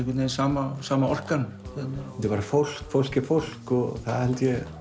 sama sama orkan fólk fólk er fólk og það